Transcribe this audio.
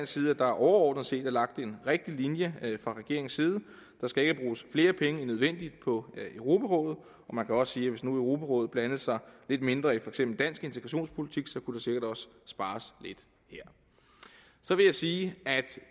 side at der overordnet set er lagt en rigtig linje fra regeringens side der skal ikke bruges flere penge end nødvendigt på europarådet man kan også sige at hvis nu europarådet blandede sig lidt mindre i for eksempel dansk integrationspolitik så kunne der sikkert også spares lidt her så vil jeg sige